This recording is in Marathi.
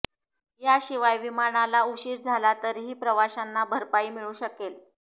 याशिवाय विमानाला उशीर झाला तरीही प्रवाशांना भरपाई मिळू शकेल